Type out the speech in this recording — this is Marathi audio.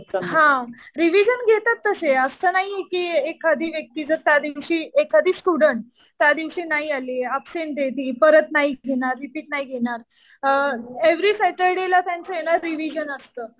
हा. रिविजन घेतात तसं. असं नाही कि एखादी व्यक्ती जर त्या दिवशी, एखादी स्टुडन्ट त्या दिवशी नाही आली. अबसेन्ट आहे ती. परत नाहीच घेणार. रिपीट नाही घेणार. एव्हरी सॅटर्डे ला ना त्यांचं रिविजन असतं.